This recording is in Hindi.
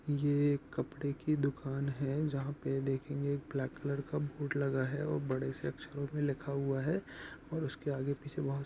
ये एक कपड़े की दुकान है जहां पे देखेंगे ब्लैक कलर का बोर्ड लगा है और बड़े से अक्षरों में लिखा हुआ है और उसके आगे पीछे बहुत--